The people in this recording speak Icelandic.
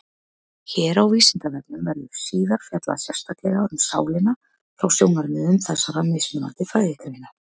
Hér á Vísindavefnum verður síðar fjallað sérstaklega um sálina frá sjónarmiðum þessara mismunandi fræðigreina.